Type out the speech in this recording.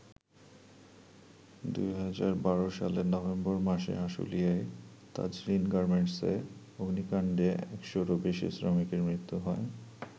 ২০১২ সালের নভেম্বর মাসে আশুলিয়ায় তাজরীন গার্মেন্টসে অগ্নিকাণ্ডে একশোরও বেশি শ্রমিকের মৃত্যু হয়।